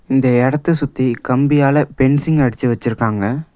இந்த எடத்த சுத்தி கம்பியால பென்சிங் அடிச்சி வச்சிருக்காங்க.